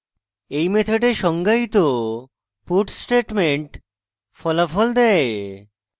এই methods সংজ্ঞায়িত puts statement ফলাফল দেয়